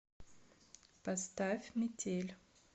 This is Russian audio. поставь метель